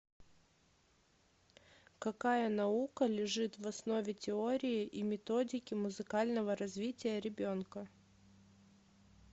какая наука лежит в основе теории и методики музыкального развития ребенка